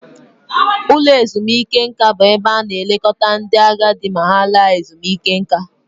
Ụlọ ezumike nka bụ ebe a na-elekọta ndị agadi ma ha laa ezumike nká